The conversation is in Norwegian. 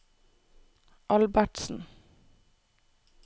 Albertsen